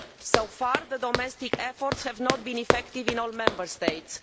So far, domestic efforts have not been effective in all Member States.